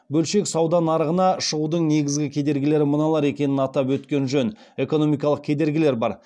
бөлшек сауда нарығына шығудың негізгі кедергілері мыналар екенін атап өткен жөн экономикалық кедергілер бар